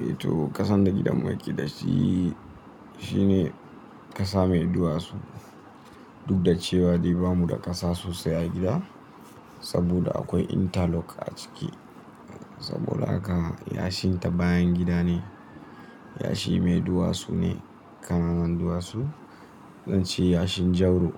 Eh to, ƙasan da gidan mu yake da shi, shine ƙasa mai duwatsu. Duk da cewa dai bamu da ƙasa sosai a gida, saboda akwai interlock a ciki. Saboda haka, yashin ta bayan gida ne, yashi mai duwatsu ne, ƙananan duwatsu, zan ce yashin Jauro.